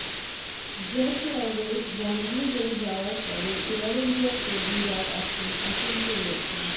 jet airways বন্ধ হয়ে যাওয়ার পরে এয়ার ইন্ডিয়ার কর্মীরাও এখন আতঙ্কে রয়েছেন